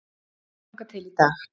Þangað til í dag.